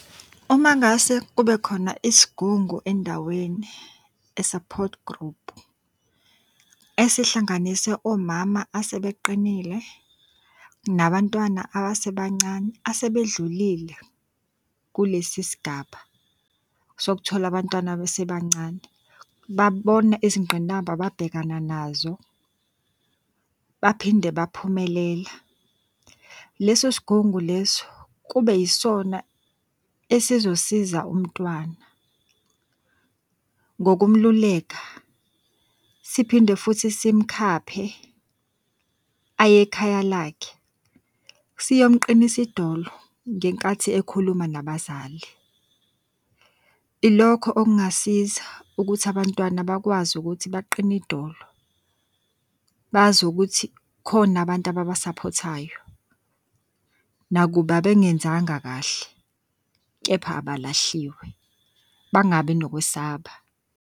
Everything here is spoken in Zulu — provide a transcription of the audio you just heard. Uma ngase kubekhona isigungu endaweni, a support group. Esihlanganisa omama asebeqinile nabantwana abasebancane asebedlulile kulesi sigaba sokuthola abantwana besebancane, babona izingqinamba ababhekana nazo, baphinde baphumelela. Leso sigungu leso, kube yisona esizosiza umntwana ngokumululeka siphinde futhi simukhaphe ayekhaya lakhe, siyomuqinisa idolo ngenkathi ekhuluma nabazali. Ilokho okungasiza ukuthi abantwana bakwazi ukuthi baqine idolo. Bazi ukuthi khona abantu ababa saphothayo nakuba bengenzanga kahle, kepha abalahliwe bangabi nokwesaba.